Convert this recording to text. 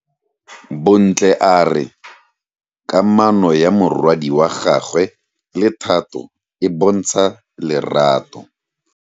Bontle a re kamano ya morwadi wa gagwe le Thato e bontsha lerato.